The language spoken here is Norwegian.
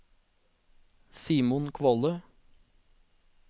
Simon Kvåle